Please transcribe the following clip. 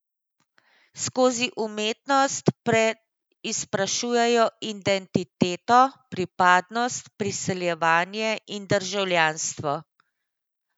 Skozi umetnost preizprašujejo identiteto, pripadnost, priseljevanje in državljanstvo.